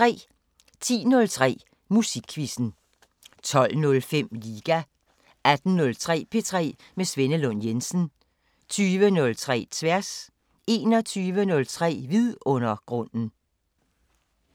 10:03: Musikquizzen 12:05: Liga 18:03: P3 med Svenne Lund Jensen 20:03: Tværs 21:03: Vidundergrunden